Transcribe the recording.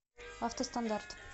автостандарт